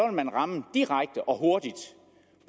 man ramme direkte og hurtigt